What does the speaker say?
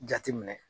Jate minɛ